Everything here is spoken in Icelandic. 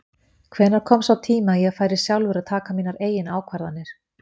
Hvenær kom sá tími að ég færi sjálfur að taka mínar eigin ákvarðanir?